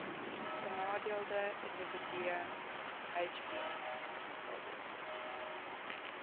benadeelde individue hbis